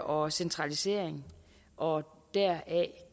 og centralisering og deraf